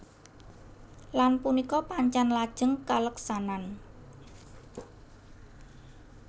Lan punika pancèn lajeng kaleksanan